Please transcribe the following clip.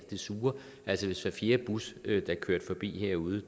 det sure altså hvis hver fjerde bus der kørte forbi herude